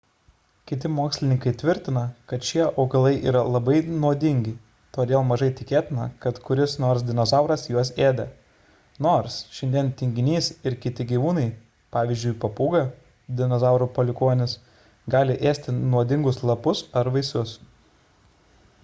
kiti mokslininkai tvirtina kad šie augalai yra labai nuodingi todėl mažai tikėtina kad kuris nors dinozauras juos ėdė nors šiandien tinginys ir kiti gyvūnai pavyzdžiui papūga dinozaurų palikuonis gali ėsti nuodingus lapus ar vaisius